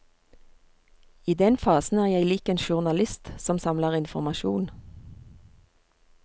I den fasen er jeg lik en journalist som samler informasjon.